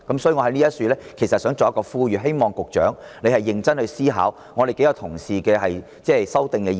因此，我想在此呼籲，希望局長認真思考我們多位同事提出的修訂議案。